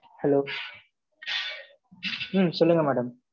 Hello ம், சொல்லுங்க madam